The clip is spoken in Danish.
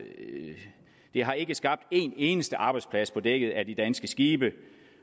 har ikke skabt en eneste arbejdsplads på dækket af de danske skibe